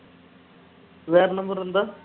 வேற number இருந்தா